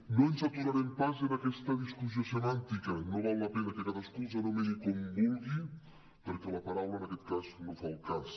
no ens aturarem pas en aquesta discussió semàntica no val la pena que cadascú els anomeni com vulgui perquè la paraula en aquesta cas no fa el cas